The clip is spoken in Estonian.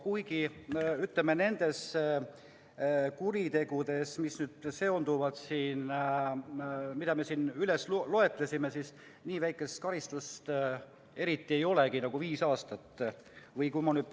Kuigi nende kuritegude eest, mida me siin loetlesime, nii väikesest karistust nagu viis aastat eriti ei olegi.